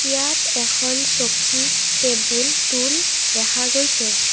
ইয়াত এখন চকী টেবুল টোল দেখা গৈছে।